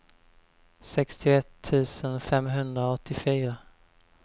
sextioett tusen femhundraåttiofyra